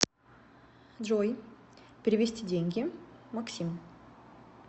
джой перевести деньги максим